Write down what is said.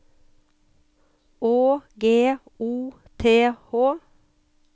Å G O T H